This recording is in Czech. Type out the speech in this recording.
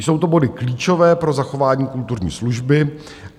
Jsou to body klíčové pro zachování kulturní služby.